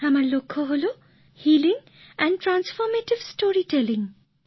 আমার লক্ষ্য হল গল্প বলার নতুন নিয়মে মনের কষ্ট দূর করা